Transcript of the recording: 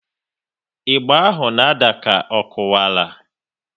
Ịgba ahụ na ada ka ọ kuwara